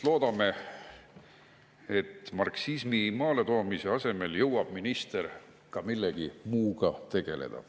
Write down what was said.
Loodame, et marksismi maaletoomise asemel saab minister ka millegi muuga tegeleda.